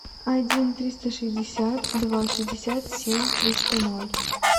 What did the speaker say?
один триста шестьдесят два шестьдесят семь триста ноль